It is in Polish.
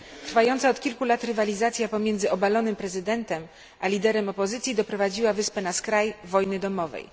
Trwająca od kilku lat rywalizacja pomiędzy obalonym prezydentem a liderem opozycji doprowadziła wyspę na skraj wojny domowej.